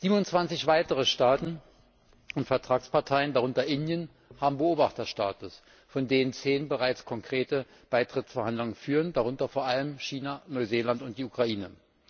27 weitere Staaten und Vertragsparteien darunter Indien haben Beobachterstatus, von denen 10 bereits konkrete Beitrittsverhandlungen führen, darunter vor allem China, Neuseeland und die Ukraine.